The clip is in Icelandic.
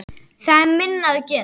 Það er minna að gera.